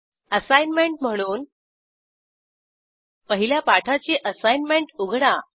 assignment म्हणून पहिल्या पाठाची असाईनमेंट उघडा